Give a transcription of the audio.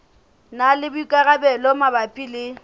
na le boikarabelo mabapi le